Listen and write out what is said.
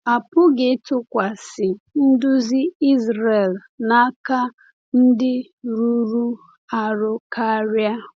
A pụghị ịtụkwasị nduzi Izrel n’aka ndị rụrụ arụ karịa.